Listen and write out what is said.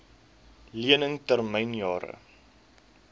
lening termyn jare